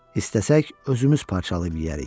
İstəsək, özümüz parçalayıb yeyərik.